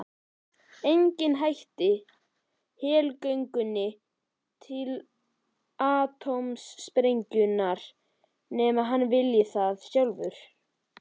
Enginn hættir helgöngunni til atómsprengjunnar nema hann vilji það sjálfur.